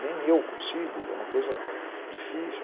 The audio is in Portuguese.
Nem eu consigo, é uma coisa difícil.